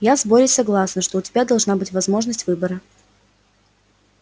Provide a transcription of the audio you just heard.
я с борей согласна что у тебя должна быть возможность выбора